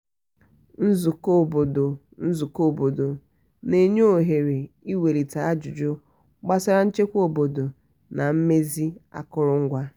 nzukọ obodo nzukọ obodo na-enye ohere ịwelite ajụjụ gbasara nchekwa obodo na mmezi akụrụngwa.